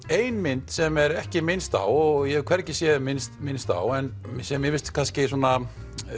ein mynd sem er ekki minnst á og ég hef hvergi séð minnst minnst á en mér finnst kannski svona